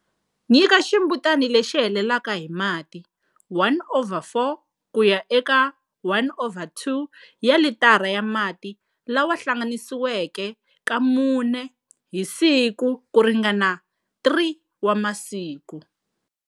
Nyika ximbutana lexi helelaka hi mati 1 over 4 ku ya eka 1 over 2 ya litara ya mati lawa hlanganisiweke ka mune hi siku ku ringana 3 wa masiku.